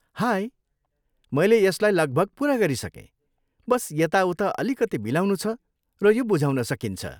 High, मैले यसलाई लगभग पुरा गरिसकेँ, बस यता उता अलिकति मिलाउनुछ, र यो बुझाउन सकिन्छ।